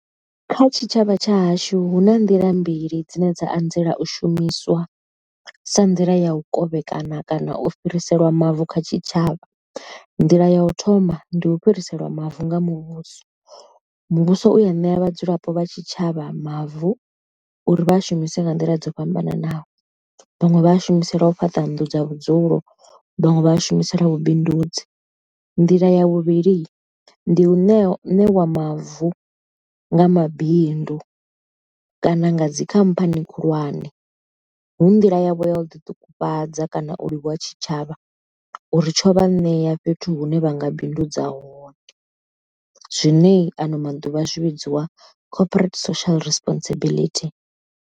Kha tshitshavha tshahashu hu na nḓila mbili dzine dza anzela u shumiswa, sa nḓila ya u kovhekana kana u fhiriselwa mavu kha tshitshavha. Nḓila ya u thoma ndi u fhiriselwa mavu nga muvhuso, muvhuso u ya ṋea vhadzulapo vha tshitshavha mavu uri vha shumise nga nḓila dzo fhambananaho, vhaṅwe vha shumise ḽa u fhaṱa nnḓu dza vhudzulo vhaṅwe vha a shumiselwa vhubindudzi. Nḓila ya vhuvhili ndi u ṋewa mavu nga mabindu kana nga dzikhamphani khulwane, hu nḓila yavho ya u ḓiṱufhadza kana u livhuwa tshitshavha uri tsho vha ṋea fhethu hune vha nga bindudza hone, zwine ano maḓuvha zwi vhidziwa cooperate social responsibility.